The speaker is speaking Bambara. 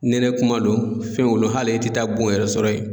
Nɛnɛ kuma don fɛnw bolo hali e tɛ taa bon yɛrɛ sɔrɔ yen.